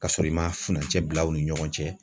Ka sɔrɔ i ma furancɛ bila u ni ɲɔgɔn cɛ